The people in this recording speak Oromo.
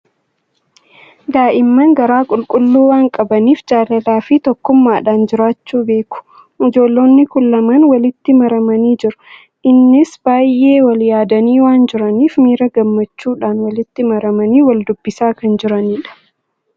Daa'imman garaa qulqulluu waan qabaniif, jaalalaa fi tokkummaadhaan jiraachuu beeku! Ijoollonni kun lamaan walitti maramanii jiru. Innis baay'ee wal yaadanii waan jiraniif, miira gammachuudhaan walitti marmanii wal dubbisaa kan jiranidha.